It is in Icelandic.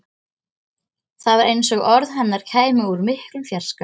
Það var eins og orð hennar kæmu úr miklum fjarska.